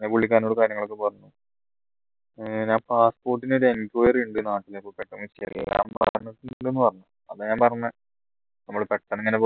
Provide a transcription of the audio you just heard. ഞാൻ പുള്ളിക്കാരനോട് കാര്യങ്ങളൊക്കെ പറഞ്ഞു ഏർ ഞാൻ passport ന്റെ ഒരു enquiry ഉണ്ട് നാട്ടില് അപ്പൊ പെട്ടെന്ന് ഞാൻ പറഞ്ഞ നമ്മളെ പെട്ടെന്ന്